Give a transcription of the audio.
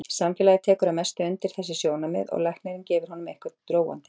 Samfélagið tekur að mestu undir þessi sjónarmið og læknirinn gefur honum eitthvað róandi.